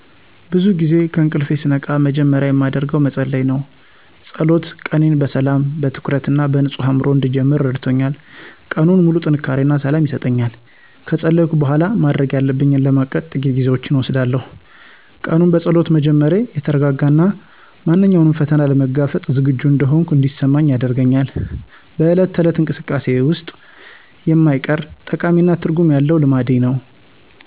ብዙ ጊዜ ከእንቅልፌ ስነቃ መጀመሪያ የማደርገው መጸለይ ነው። ጸሎት ቀኔን በሰላም፣ በትኩረት እና በንጹህ አእምሮ እንድጀምር ረድቶኛል። ቀኑን ሙሉ ጥንካሬ እና ሰላም ይሰጠኛል። ከጸለይኩ በኋላ፣ ማድረግ ያለብኝን ለማቀድ ጥቂት ጊዜዎችን እወስዳለሁ። ቀኑን በጸሎት መጀመሬ የተረጋጋ እና ማንኛውንም ፈተና ለመጋፈጥ ዝግጁ እንደሆንኩ እንዲሰማኝ አድርጎኛል። በዕለት ተዕለት እንቅስቃሴዬ ውስጥም የማይቀር፣ ጠቃሚ እና ትርጉም ያለው ልማዴ ነው።